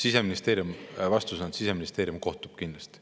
Siseministeeriumi vastus: Siseministeerium kohtub kindlasti.